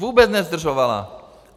Vůbec nezdržovala.